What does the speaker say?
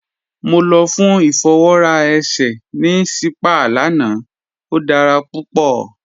Mọ lọ fún ifọwọra èṣẹ̀ ní sípàá lána, o dára púpọ.